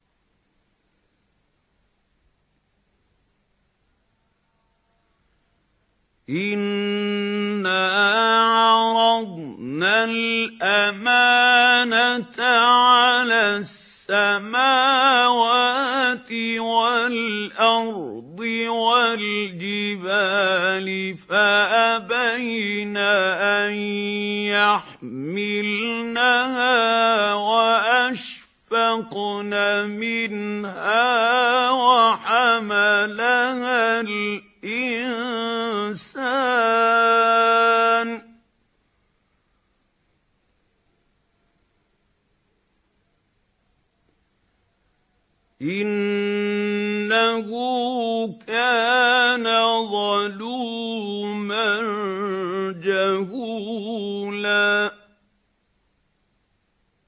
إِنَّا عَرَضْنَا الْأَمَانَةَ عَلَى السَّمَاوَاتِ وَالْأَرْضِ وَالْجِبَالِ فَأَبَيْنَ أَن يَحْمِلْنَهَا وَأَشْفَقْنَ مِنْهَا وَحَمَلَهَا الْإِنسَانُ ۖ إِنَّهُ كَانَ ظَلُومًا جَهُولًا